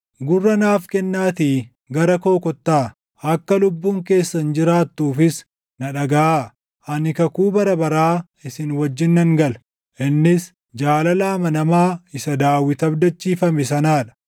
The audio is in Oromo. Gurra naaf kennaatii gara koo kottaa; akka lubbuun keessan jiraattuufis na dhagaʼaa. Ani kakuu bara baraa isin wajjin nan gala; innis jaalala amanamaa isa Daawit // abdachiifame sanaa dha;